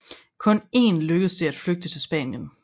Kun én lykkedes det at flygte til Spanien